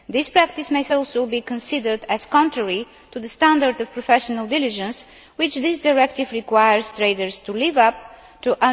This practice might also be considered as contrary to the standard of professional diligence which this directive requires traders to live up to.